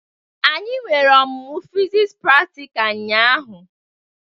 Anyị nwere omumu fiziks pratikal ụnyaahụ.